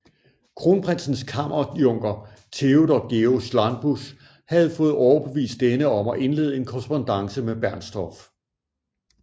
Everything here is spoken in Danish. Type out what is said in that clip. Kronprinsens kammerjunker Theodor Georg Schlanbusch havde fået overbevist denne om at indlede en korrespondance med Bernstorff